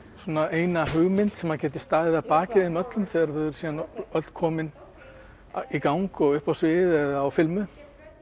eina hugmynd sem geti staðið að baki þeim öllum þegar þau eru síðan öll komin í gang uppi á sviði á filmu